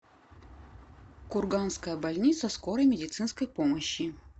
курганская больница скорой медицинской помощи